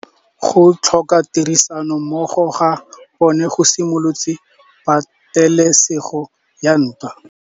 Go tlhoka tirsanommogo ga bone go simolotse patêlêsêgô ya ntwa.